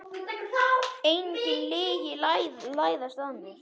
Engin lygi læðast að mér.